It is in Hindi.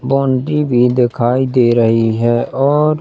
बाउंड्री भी दिखाई दे रही है और--